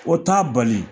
O t'a bali